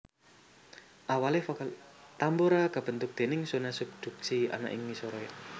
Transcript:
Tambora kabentuk déning zona subduksi ana ing ngisoré